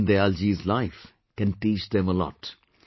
Deen Dayal ji's life can teach them a lot